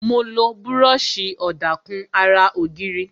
Mo lo búròsì ọ̀dà kùn ara ògiri